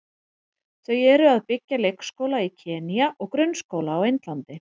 Þau eru að byggja leikskóla í Kenýa og grunnskóla á Indlandi.